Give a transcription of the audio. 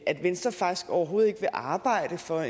at venstre faktisk overhovedet ikke vil arbejde for